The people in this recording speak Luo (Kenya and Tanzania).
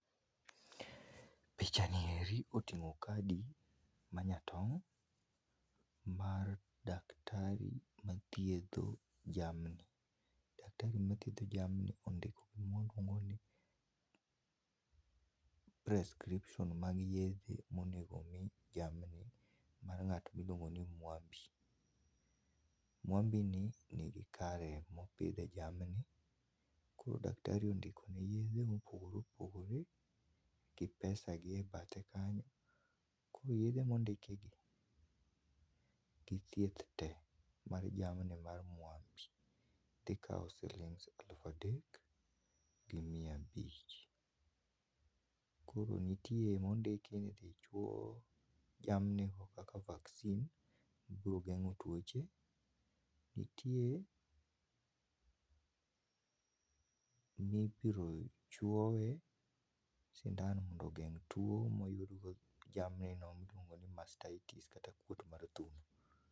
Pichani eri otingo kadi manyatong mar daktari mathiedho jamni. Daktari mathiedho jamni ondiko prescription mag yedhema owinjore omi jamni mar jal ma iluong'o ni Mwambi, Mwambi ni nigi kare mopithe jamni koro daktar i ondikone yethe mopogore opogore gi pesa gi e badhe kanyo. Koro yedhe ma ondiki gi gi thieth tee mar jamni mag Mwambi dhi kawo shilings elufu adek gi mia abich, koro nitiere ma ondiki ni idhi chuo jamni kaka vaccine mabiro gengo tuoche. Nitie mibiro chuowe sindan mondo ogeng tuo moyud go jamni miluongo ni mastitis kaka kuot mar thuno.